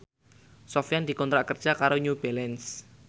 Sofyan dikontrak kerja karo New Balance